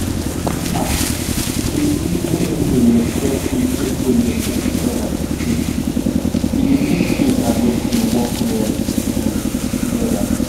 um true true when everybody respect each everybody respect each other um e dey help make faith and medicine work well um together